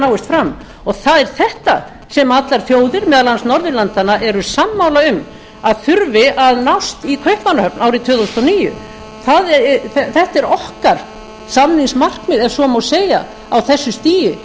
náist fram og það er þetta sem allar þjóðir meðal annars norðurlandanna eru sammála um að þurfi að nást í kaupmannahöfn árið tvö þúsund og níu þetta er okkar samningsmarkmið ef svo má segja á þessu stigi